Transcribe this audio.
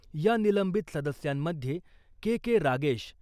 या निलंबित सदस्यांमध्ये के.के. रागेश ,